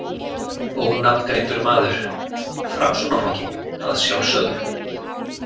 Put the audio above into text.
Ónafngreindur maður: Framsóknarflokkinn, að sjálfsögðu?